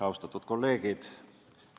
Austatud kolleegid!